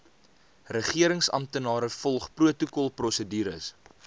regeringsamptenare volg protokolprosedures